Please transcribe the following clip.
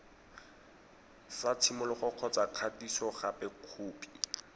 sa tshimologo kgotsa kgatisogape khopi